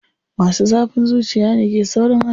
Masu zafin zuciya ne ke saurin hannu.